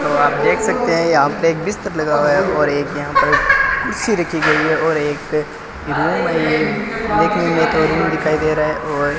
और आप देख सकते हैं यहां पे बिस्तर लगा हुआ है और एक यहां पर कुर्सी रखी गईं है और एक देखिए ये दो रूम दिखाई दे रहा है और --